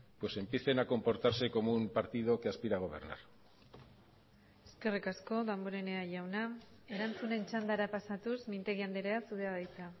pues empiecen a comportarse como un partido que aspira a gobernar eskerrik asko damborenea jauna erantzunen txandara pasatuz mintegi andrea zurea da hitza